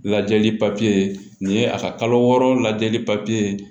Lajɛli papiye nin ye a ka kalo wɔɔrɔ lajɛli papiye